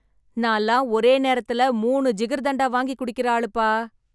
நான்லாம் ஒரே நேரத்துல மூணு ஜிகர்தண்டா வாங்கி வாங்கி குடிக்கிற ஆளுப்பா.